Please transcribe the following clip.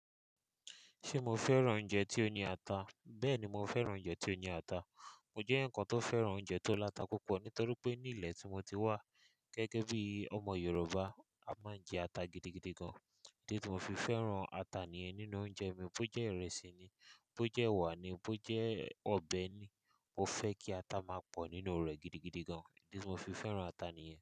Ṣé mo fẹ́ràn oúnjẹ tí ó ní ata? Bẹ́ẹ̀ni, mo fẹ́ràn oúnjẹ tí ó ní ata. Mo jẹ́ ǹkan tó fẹ́ràn oúnjẹ tó láta púpọ̀ nítorí pé ní ilẹ̀ tí mo ti wá gẹ́gẹ́ bí ọmọ Yorùbá a máa ń jẹ ata gidigidi gan. Ni bí mo fi fẹ́ràn ata nìyẹn nínú oúnjẹ mi bó jẹ́ ìrẹsì ni, bó jẹ́ ẹwà ni, bó jẹ́ ọbẹ̀ ni, mo fẹ́ kí ata máa pọ̀ nínú rẹ̀ gidigidi gan. Ìdí tí mo fi fẹ́ràn ata nìyẹn.